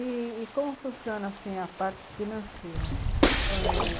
E como funciona assim a parte financeira?